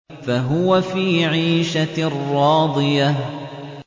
فَهُوَ فِي عِيشَةٍ رَّاضِيَةٍ